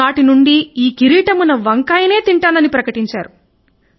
తాను నాటి నుండి ఈ కిరీటమున్న వంకాయని తింటానని ప్రకటించారు